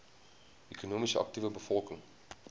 ekonomies aktiewe bevolking